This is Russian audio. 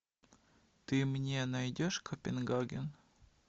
ты мне найдешь копенгаген